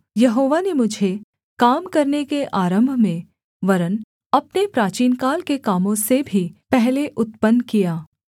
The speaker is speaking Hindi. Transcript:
यहोवा ने मुझे काम करने के आरम्भ में वरन् अपने प्राचीनकाल के कामों से भी पहले उत्पन्न किया